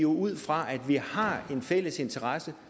ud fra at vi har en fælles interesse